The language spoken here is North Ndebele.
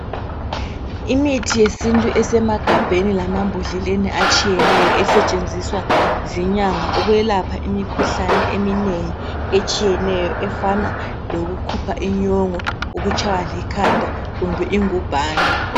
Imithi yesintu esemagabheni lamambhodleleni atshiyeneyo esetshenziswa zinyanga ukwelapha imikhuhlane eminengi etshiyeneyo efana lokukhupha inyongo ukutshaywa likhanda kumbe ingubhani.